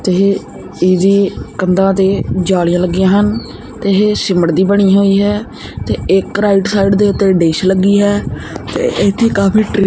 ਇਹ ਇਹਦੀ ਕੰਧਾਂ ਦੇ ਜਾਲੀਆਂ ਲੱਗੀਆਂ ਹਨ ਤੇ ਇਹ ਸਿਮਟ ਦੀ ਬਣੀ ਹੋਈ ਹੈ ਤੇ ਇਕ ਰਾਈਟ ਸਾਈਡ ਦੇ ਉੱਤੇ ਡਿਸ਼ ਲੱਗੀ ਹੈ ਤੇ ਇਥੇ ਕਾਫੀ।